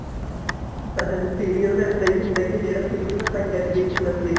ਹਾਂ ਹਾਂ serial ਤਾਂ ਇੱਦਾਂ ਈ ਹੁੰਦਾ ਕਿ ਜਿਹੜਾ serial ਆਪਾਂ ਇੱਕ ਵਾਰੀ ਦੇਖਣ ਅਹ ਦੇਖਣ